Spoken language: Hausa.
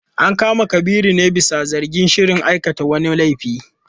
An kama Kabiru ne bisa zargin shirin aikata wani laifi.